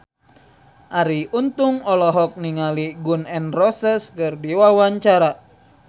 Arie Untung olohok ningali Gun N Roses keur diwawancara